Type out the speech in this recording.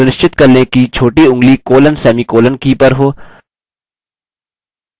सुनिश्चित कर लें कि छोटी ऊँगली colon/सेमीकॉलन की पर हो